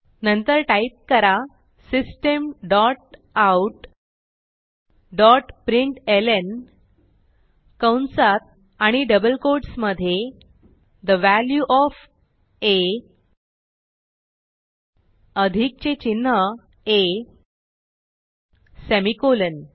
नंतर टाईप करा system dot out dot println कंसात आणि डबल कोट्स मधे ठे वॅल्यू ओएफ आ अधिकचे चिन्ह आ सेमिकोलॉन